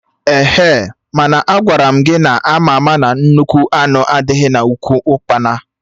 Ehe! Mana Agwaram gị na ama ama na nnukwu anụ adịghị na ụkwụ ukpana!